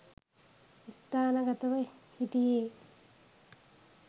ස්ථානගතව හිටියේ